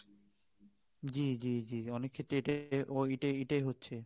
জ্বী জ্বী জ্বী অনেক ক্ষেত্রে এ ও এটাই হচ্ছে